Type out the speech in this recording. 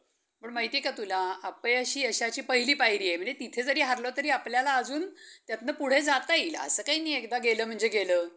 गुरुजींना साहित्यिक म्हणून मोठे मना अं मानाचे स्थान दिले आहेत. गुरुजींना निसर्गाचे किती सुंदर सुंदर अं दर्शन घडले.